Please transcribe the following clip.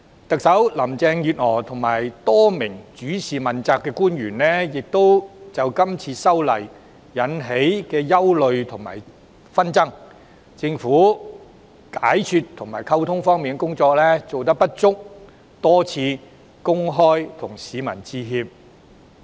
特首林鄭月娥及多名主事問責官員已為這次修例引起的憂慮和紛爭，以及政府解說和溝通工作的不足之處，多次向市民公開致歉。